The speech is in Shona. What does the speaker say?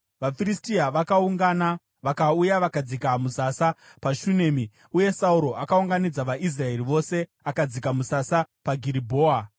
VaFiristia vakaungana vakauya vakadzika musasa paShunemi, uye Sauro akaunganidza vaIsraeri vose akadzika musasa paGiribhoa.